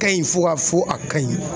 Ka ɲi fo ka fɔ a ka ɲi.